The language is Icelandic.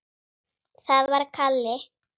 Það var Kalli.